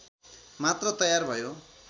मात्र तयार भयो